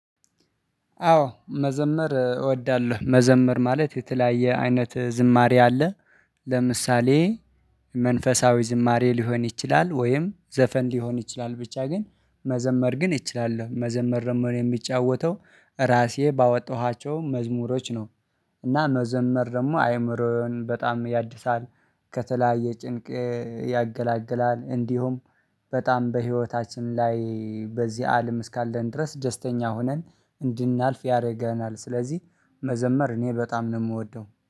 አዎ መዘመር እወዳለሁ። መዘመር ማለት የተለያየ አይነት ዝማሬ አለ ለምሳሌ መንፈሳዊ ዝማሬ ሊሆን ይችላል ወይም ዘፈን ሊሆን ይችላል ብቻ ግን መዘመር ግን እችላለው። መዘመር ደግሞ የሚጫወተው ራሴ ባወጣኋቸው መዝሙሮች ነው። እና መዘመር ደግሞ አእምሮን በጣም ያድሳል ከተለያየ ጭንቅ ያገላግላል፣ እንዲሁም በጣም በህይወታችን ላይ በዚህ አለም እስካለን ድረስ ደስተኛ ሆነን እንድናልፍ ያደርገናል። ስለዚህ መዘመር እኔ በጣም ነው የምወደው።